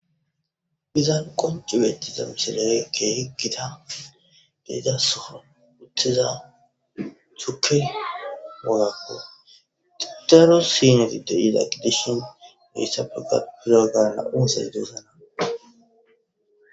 Izan qoncu bectiza mishilayekke higita deidasofo wuthiza chuke wogakko daro sineti de ida kidishin biissa fega pirogaana uuzadusana